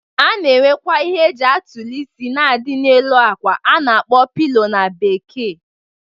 A na-enwekwa ihe e ji atụlị isi na-adị na-elu akwa a na-akpọ pilo na Bekee.